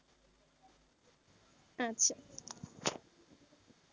আচ্ছা,